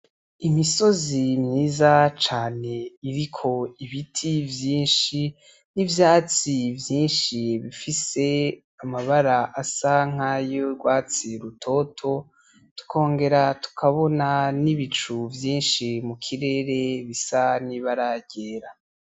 Imisozi myiza cane iriko ibiti vyinshi n'ivyatsi vyinshi bifise amabara asanka yorwatsi rutoto tukongera tukabona n'ibicu vyinshi mu kirere bisa n’ibaragera ryera.